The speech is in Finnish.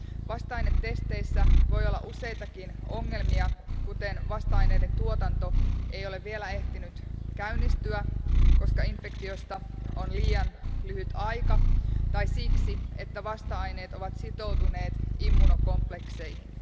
Vasta ainetesteissä voi olla useitakin ongelmia, kuten se, että vasta-aineiden tuotanto ei ole vielä ehtinyt käynnistyä, koska infektioista on liian lyhyt aika, tai siksi, että vasta aineet ovat sitoutuneet immunokomplekseihin.